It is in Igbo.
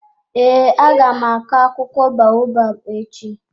Ee, aga m akụ akwụkwọ baobab echi.